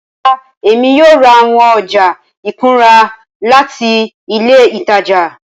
Rara, Emi kii yoo ra awọn ọja ikunra lati ile itaja.